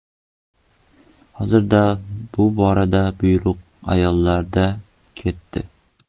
Hozir bu borada bayroq ayollarda ketdi.